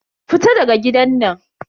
Fita daga gidan nan.